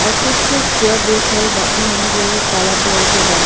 और कुछ चेयर दे रहल बानी हम जो काला कलर के बा।